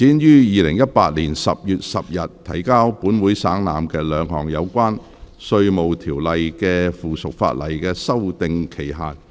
第二項議案：延展於2018年10月10日提交本會省覽，兩項有關《稅務條例》的附屬法例的修訂期限。